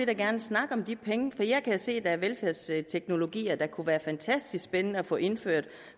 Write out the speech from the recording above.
da gerne snakke om de penge for jeg kan se at der er velfærdsteknologier der kunne være fantastisk spændende at få indført